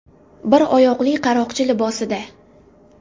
Bir oyoqli qaroqchi libosida.